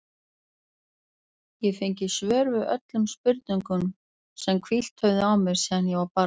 Ég fengi svör við öllum spurningunum sem hvílt höfðu á mér síðan ég var barn.